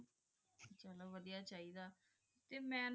ਸਾਰੀ ਵਾਦੇਯਾ ਹੇ ਚੇਈਦਾ ਟੀ ਮੈਂ ਨਾ